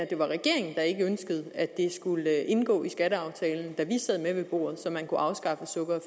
det var regeringen der ikke ønskede at det skulle indgå i skatteaftalen da vi sad med ved bordet så man kunne afskaffe sukker